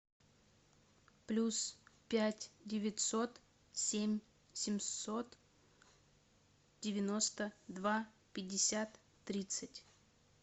плюс пять девятьсот семь семьсот девяносто два пятьдесят тридцать